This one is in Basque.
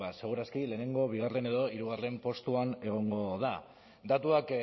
seguraski lehenengo bigarren edo hirugarren postuan egongo da datuak